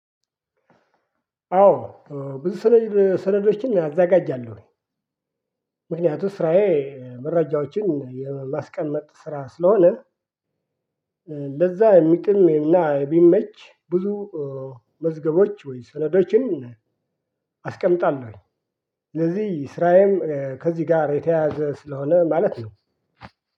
አዎ። ብዙ ሰነድ ሰነዶችን አዘጋጃለሁ። ምክንያቱም ስራዬ መረጃዎችን የማስቀመጥ ስራ ስለሆነ ለዛ የሚቅም እና የሚመች ብዙ መዝገቦች ወይ ሰነዶችን አስቀምጣለሁኝ። ስለዚህ ስራዬም ከዚህ ጋር የተያያዘ ስለሆነ ማለት ነው።